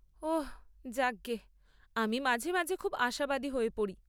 ওঃ, যাক গে! আমি মাঝে মাঝে খুব আশাবাদী হয়ে পড়ি।